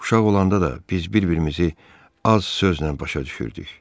Uşaq olanda da biz bir-birimizi az sözlə başa düşürdük.